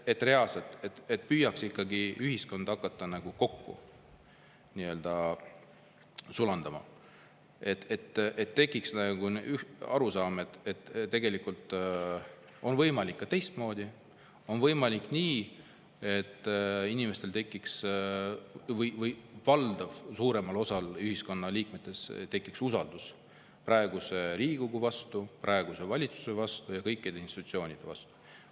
Et reaalselt püüaks ikkagi, et ühiskond hakkaks kokku sulanduma, et tekiks arusaam, et tegelikult on võimalik ka teistmoodi, on võimalik nii, et inimestel või valdaval, suuremal osal ühiskonna liikmetest tekiks usaldus praeguse Riigikogu vastu, praeguse valitsuse vastu ja kõikide institutsioonide vastu.